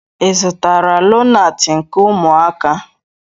Ị zụtara lonaatị nke ụmụaka?